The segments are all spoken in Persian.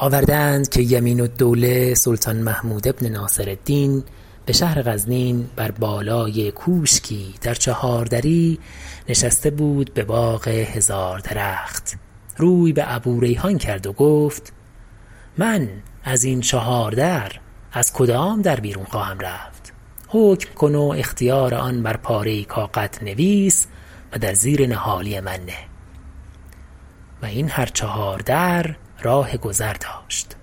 آورده اند که یمین الدوله سلطان محمود بن ناصرالدین به شهر غزنین بر بالای کوشکی در چهار دری نشسته بود به باغ هزار درخت روی به ابوریحان کرد و گفت من از این چهار در از کدام در بیرون خواهم رفت حکم کن و اختیار آن بر پاره ای کاغد نویس و در زیر نهالی من نه و این هر چهار در راه گذر داشت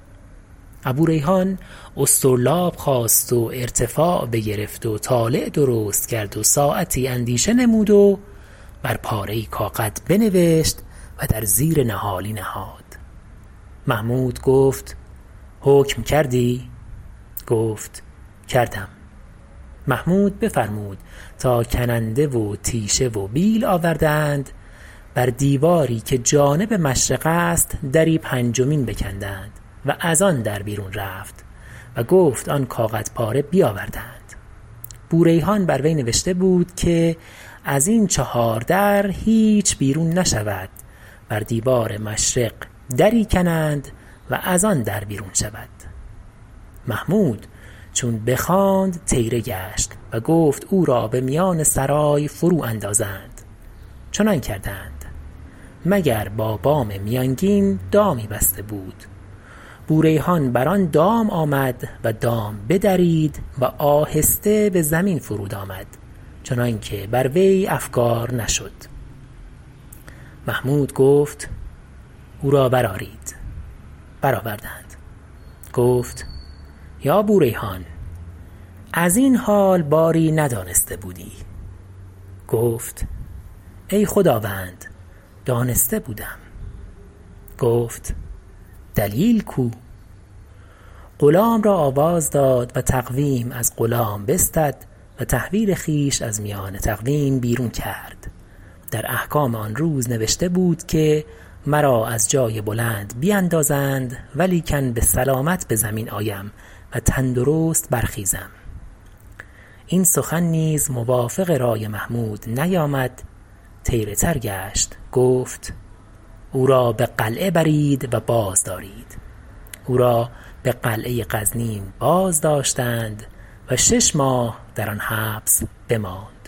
ابوریحان اسطرلاب خواست و ارتفاع بگرفت و طالع درست کرد و ساعتی اندیشه نمود و بر پاره ای کاغد بنوشت و در زیر نهالی نهاد محمود گفت حکم کردی گفت کردم محمود بفرمود تا کننده و تیشه و بیل آوردند بر دیواری که جانب مشرق است دری پنجمین بکندند و از آن در بیرون رفت و گفت آن کاغد پاره بیاوردند بوریحان بر وی نوشته بود که از این چهار در هیچ بیرون نشود بر دیوار مشرق دری کنند و از آن در بیرون شود محمود چون بخواند طیره گشت و گفت او را به میان سرای فرو اندازند چنان کردند مگر با بام میانگین دامی بسته بود بوریحان بر آن دام آمد و دام بدرید و آهسته به زمین فرود آمد چنان که بر وی افگار نشد محمود گفت او را برآرید برآوردند گفت یا بوریحان از این حال باری ندانسته بودی گفت ای خداوند دانسته بودم گفت دلیل کو غلام را آواز داد و تقویم از غلام بستد و تحویل خویش از میان تقویم بیرون کرد در احکام آن روز نوشته بود که مرا از جای بلند بیندازند ولیکن به سلامت به زمین آیم و تندرست برخیزم این سخن نیز موافق رای محمود نیامد طیره تر گشت گفت او را به قلعه برید و بازدارید او را به قلعه غزنین بازداشتند و شش ماه در آن حبس بماند